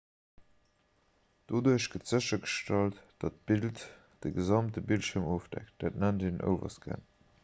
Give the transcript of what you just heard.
doduerch gëtt séchergestallt datt d'bild de gesamte bildschierm ofdeckt dat nennt een overscan